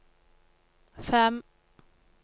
fem